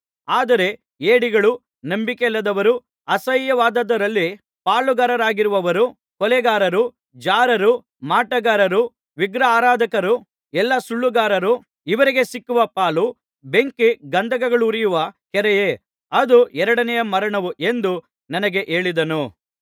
ಆದರೆ ಹೇಡಿಗಳು ನಂಬಿಕೆಯಿಲ್ಲದವರು ಅಸಹ್ಯವಾದದ್ದರಲ್ಲಿ ಪಾಳುಗಾರರಾಗಿರುವವರು ಕೊಲೆಗಾರರು ಜಾರರು ಮಾಟಗಾರರು ವಿಗ್ರಹಾರಾಧಕರು ಎಲ್ಲಾ ಸುಳ್ಳುಗಾರರು ಇವರಿಗೆ ಸಿಕ್ಕುವ ಪಾಲು ಬೆಂಕಿ ಗಂಧಕಗಳುರಿಯುವ ಕೆರೆಯೇ ಅದು ಎರಡನೆಯ ಮರಣವು ಎಂದು ನನಗೆ ಹೇಳಿದನು